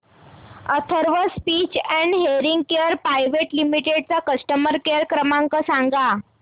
Atharva speech and hearing care private limited चा customer care क्रमांक सांगा